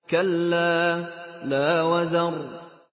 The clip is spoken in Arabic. كَلَّا لَا وَزَرَ